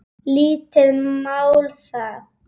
Lítið mál það.